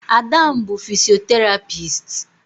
Ada m bu fisoterapisti